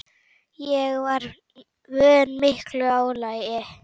Ég var vön miklu álagi.